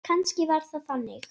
Kannski var það þannig.